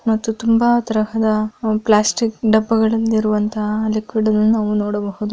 ಮತ್ತು ತುಂಬಾ ತರಹದ ಪ್ಲಾಸ್ಟಿಕ್ ಡಬ್ಬಗಳಲ್ಲಿರುವಂತಹ ಲಿಕ್ವಿಡ್ಗಳನ್ನು ನಾವು ನೋಡಬಹುದು--